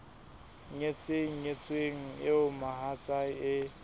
nyetseng nyetsweng eo mohatsae e